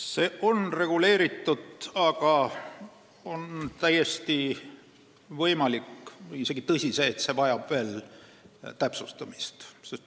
See on reguleeritud, aga on täiesti võimalik ja isegi tõsi see, et see vajab veel täpsustamist.